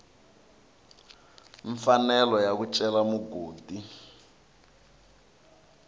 mfanelo ya ku cela mugodi